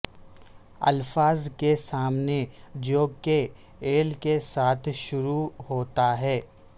الفاظ کے سامنے جو کہ ایل کے ساتھ شروع ہوتا ہے